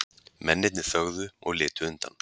Mennirnir þögðu og litu undan.